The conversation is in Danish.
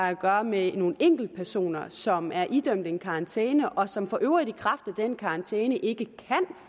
at gøre med nogle enkeltpersoner som er idømt en karantæne og som for øvrigt i kraft den karantæne ikke kan